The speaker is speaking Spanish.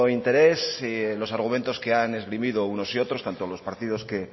interés los argumentos que han esgrimido unos y otros tanto los partidos que